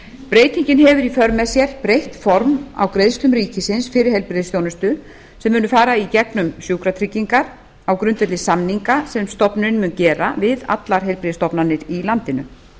breytingin hefur í för með sér breytt form á greiðslum ríkisins fyrir heilbrigðisþjónustu sem munu fara í gegnum sjúkratryggingar á grundvelli samninga sem stofnunin mun gera við allar heilbrigðisstofnanir á landinu